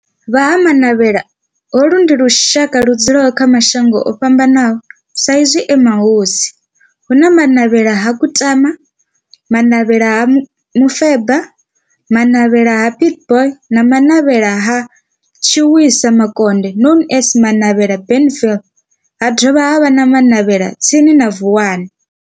Vha Ha-Manavhela, holu ndi lushaka ludzula kha mashango ofhambanaho sa izwi e mahosi, hu na Manavhela ha Kutama, Manavhela ha Mufeba, Manavhela ha Pietboi na Manavhela ha Tshiwisa Mukonde known as Manavhela Benlavin, ha dovha havha na Manavhela tsini na Vuwani.